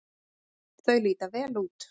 Þau líta vel út.